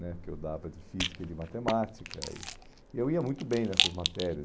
né que eu dava de física e de matemática, e e eu ia muito bem nessas matérias.